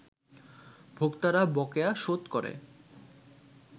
ভোক্তারা বকেয়া শোধ করে